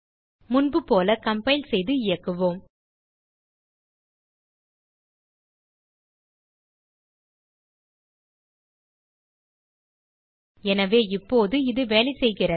முன்புபோல கம்பைல் செய்து இயக்குவோம் எனவே இப்போது இது வேலை செய்கிறது